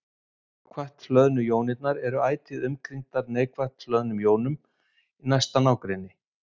jákvætt hlöðnu jónirnar eru ætíð umkringdar neikvætt hlöðnum jónum í næsta nágrenni